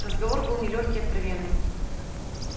разговор был нелёгкий откровенный